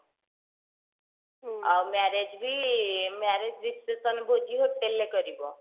ଆଉ marriage ବି marriage ବି special ଭୋଜି hotel ରେ କରିବ